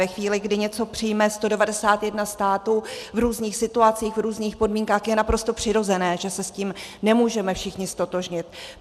Ve chvíli, kdy něco přijme 191 států v různých situacích, v různých podmínkách, je naprosto přirozené, že se s tím nemůžeme všichni ztotožnit.